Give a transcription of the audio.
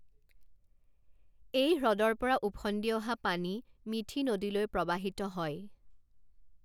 এই হ্ৰদৰ পৰা ওফন্দি অহা পানী মিথি নদীলৈ প্ৰবাহিত হয়।